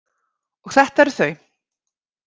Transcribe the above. Og þetta eru þau.